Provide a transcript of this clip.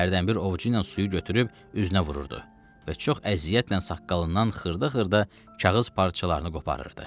Hərdənbir ovuçu ilə suyu götürüb üzünə vururdu və çox əziyyətlə saqqalından xırda-xırda kağız parçalarını qoparırdı.